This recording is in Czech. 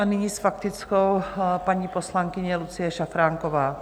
A nyní s faktickou paní poslankyně Lucie Šafránková.